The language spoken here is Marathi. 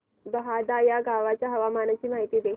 बहादा या गावाच्या हवामानाची माहिती दे